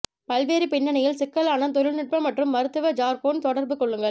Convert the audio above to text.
பல்வேறு பின்னணியில் சிக்கலான தொழில்நுட்ப மற்றும் மருத்துவ ஜர்கோன் தொடர்பு கொள்ளுங்கள்